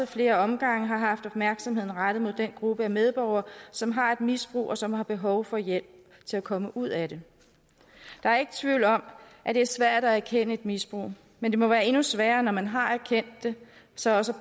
flere omgange har haft opmærksomheden rettet mod den gruppe af medborgere som har et misbrug og som har behov for hjælp til at komme ud af det der er ikke tvivl om at det er svært at erkende et misbrug men det må være endnu sværere når man har erkendt det så også